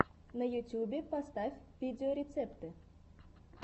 на ютюбе поставь видеорецепты